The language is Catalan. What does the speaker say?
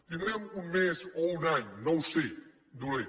tindrem un mes o un any no ho sé dolent